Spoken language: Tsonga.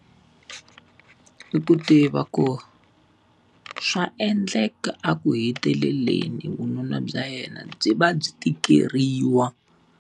I ku tiva ku, swa endleka a ku heteleleni vununa bya yena byi va byi tikeriwa.